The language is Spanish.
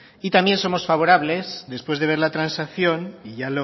y también somos favorables después de ver la transacción y ya